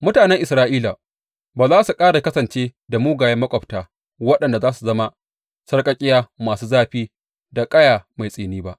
Mutanen Isra’ila ba za su ƙara kasance da mugayen maƙwabta waɗanda za su zama sarƙaƙƙiya masu zafi da ƙaya mai tsini ba.